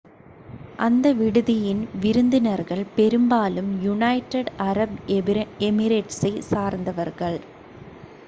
அந்த விடுதியின் விருந்தினர்கள் பெரும்பாலும் யுனைடெட் அரப் எமிரேட்ஸை சார்ந்தவர்கள்